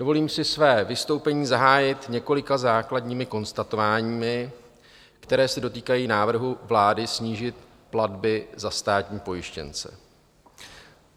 Dovolím si své vystoupení zahájit několika základními konstatováními, která se dotýkají návrhu vlády snížit platby za státní pojištěnce.